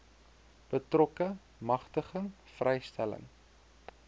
betrokke magtiging vrystelling